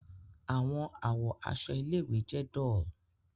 Awọn awọ aṣọ ile-iwe jẹ dull